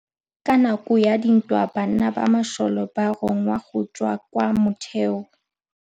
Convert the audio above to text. Ka nakô ya dintwa banna ba masole ba rongwa go tswa kwa mothêô.